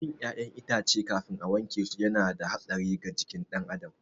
Cin ƴaƴan itace kafin a wankesu yana da hatsari ga jikin ɗan adam